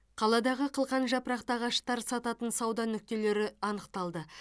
қаладағы қылқан жапырақты ағаштар сататын сауда нүктелері анықталды